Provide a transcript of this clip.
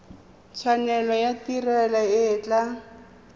tshwanelo ya tiro e tla